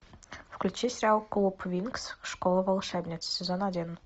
включи сериал клуб винкс школа волшебниц сезон один